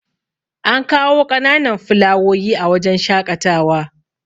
an kawo ƙananan filawoyi a wajen shaƙatawa